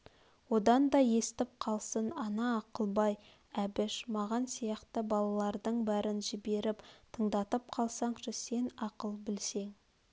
одан да естіп қалсын ана ақылбай әбіш мағаш сияқты балалардың бәрін жіберп тыңдатып қалсаңшы сен ақыл білсең